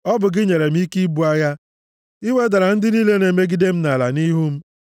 Ọ bụ gị nyere m ike ibu agha, i wedara ndị niile na-emegide m nʼala nʼihu m.